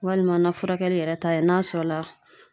Walima na furakɛli yɛrɛ ta ye n'a sɔrɔ la